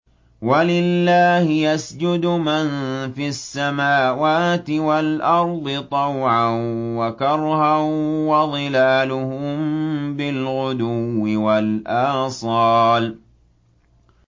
وَلِلَّهِ يَسْجُدُ مَن فِي السَّمَاوَاتِ وَالْأَرْضِ طَوْعًا وَكَرْهًا وَظِلَالُهُم بِالْغُدُوِّ وَالْآصَالِ ۩